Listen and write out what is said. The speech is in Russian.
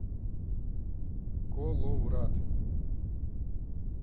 коловрат